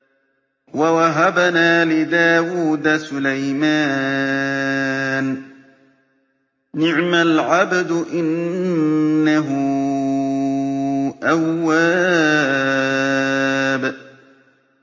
وَوَهَبْنَا لِدَاوُودَ سُلَيْمَانَ ۚ نِعْمَ الْعَبْدُ ۖ إِنَّهُ أَوَّابٌ